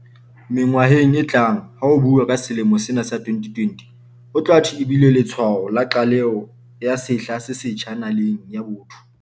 Mengwaheng e tlang ha ho buuwa ka selemo sena sa 2020, ho tla thwe e bile letshwao la qaleho ya sehla se setjha na-laneng ya botho.